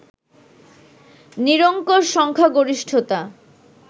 নিরঙ্কুশ সংখ্যাগরিষ্ঠতা